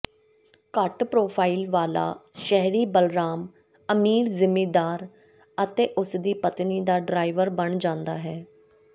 ਘੱਟ ਪ੍ਰੋਫਾਈਲ ਵਾਲਾ ਸ਼ਹਿਰੀ ਬਲਰਾਮ ਅਮੀਰ ਜ਼ਿਮੀਂਦਾਰ ਅਤੇ ਉਸਦੀ ਪਤਨੀ ਦਾ ਡਰਾਈਵਰ ਬਣ ਜਾਂਦਾ ਹੈ